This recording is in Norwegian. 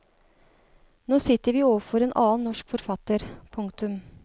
Nå sitter vi overfor en annen norsk forfatter. punktum